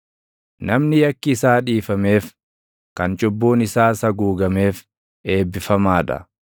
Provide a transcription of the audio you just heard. Namni yakki isaa dhiifameef, kan cubbuun isaas haguugameef, eebbifamaa dha.